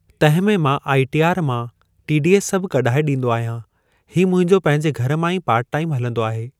तंहिं में मां आइटीआर मां टीडीएस सभु कढाए ॾींदो आहियां ही मुंहिंजो पंहिंजे घर मां ई पार्ट टाइम हलंदो आहे।